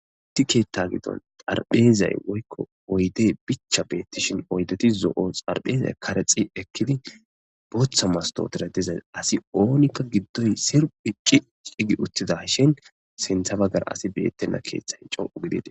Issi keetha gidon oyde bicha beetishen oyde zo'o xarphezay karexi ekidi bootha mastotere diza asi oonika gidoy sirphi cici gi othidashe sintha bagara asi beetena keethay de'es.